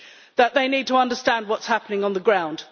that they need to understand what is happening on the ground.